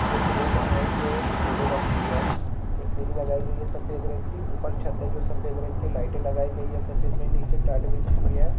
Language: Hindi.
पे क्रोमा है जो पिले रंग की है एक रेलिंग लगाई गयी है सफ़ेद रंग की ऊपर छत्त है जो सफ़ेद रंग की लाइटे लगाई गयी है सफ़ेद ने निचे टाट बिछी हुई है।